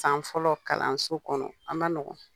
San fɔlɔ kalanso kɔnɔ a man nɔgɔn